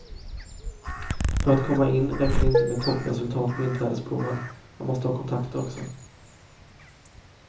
För att komma in räcker det inte med toppresultat på inträdesproven, man måste ha kontakter också.